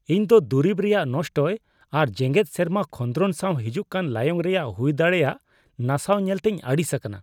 ᱤᱧ ᱫᱚ ᱫᱩᱨᱤᱵ ᱨᱮᱭᱟᱜ ᱱᱚᱥᱴᱚᱭ ᱟᱨ ᱡᱮᱜᱮᱫ ᱥᱮᱨᱢᱟ ᱠᱷᱚᱸᱫᱨᱚᱱ ᱥᱟᱣ ᱦᱤᱡᱩᱜ ᱠᱟᱱ ᱞᱟᱭᱚᱝ ᱨᱮᱭᱟᱜ ᱦᱩᱭ ᱫᱟᱲᱮᱭᱟᱜ ᱱᱟᱥᱟᱣ ᱧᱮᱞᱛᱮᱧ ᱟᱹᱲᱤᱥ ᱟᱠᱟᱱᱟ ᱾